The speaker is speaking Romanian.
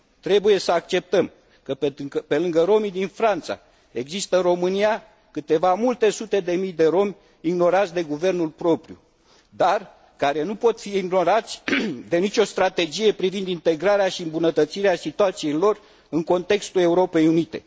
Trebuie să acceptăm că, pe lângă romii din Franța, există în România câteva multe sute de mii de romi ignorați de guvernul propriu, dar care nu pot fi ignorați de nicio strategie privind integrarea și îmbunătățirea situației lor în contextul Europei unite.